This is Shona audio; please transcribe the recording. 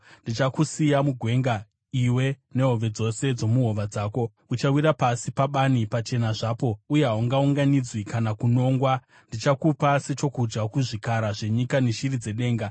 Ndichakusiya mugwenga, iwe nehove dzose dzomuhova dzako. Uchawira pasi pabani pachena zvapo, uye haungaunganidzwi kana kunongwa. Ndichakupa sechokudya kuzvikara zvenyika neshiri dzedenga.